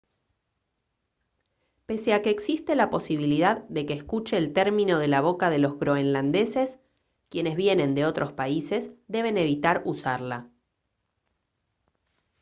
pese a que existe la posibilidad de que escuche el término de la boca de los groenlandeses quienes vienen de otros países deben evitar usarla